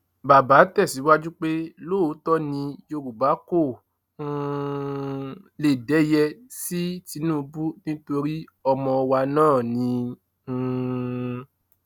bàbá tẹsíwájú pé lóòótọ ni yorùbá kò um lè dẹyẹ sí tìǹbù nítorí ọmọ wa náà ni um